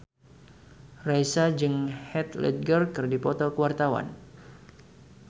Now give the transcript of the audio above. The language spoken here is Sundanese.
Raisa jeung Heath Ledger keur dipoto ku wartawan